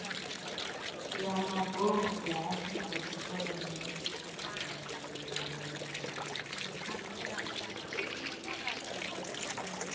ya mabofu ya afrika tshipembe